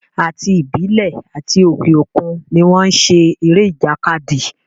Àti ìbílẹ̀ àti òke òkun ni wọ́n n ṣe eré ìjàkadì